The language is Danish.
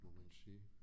Må man sige